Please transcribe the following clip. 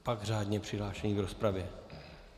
Pak řádně přihlášení k rozpravě.